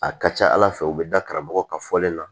A ka ca ala fɛ u bɛ da karamɔgɔ ka fɔlen na